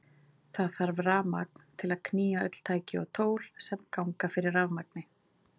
Það þarf rafmagn til að knýja öll tæki og tól sem ganga fyrir rafmagni.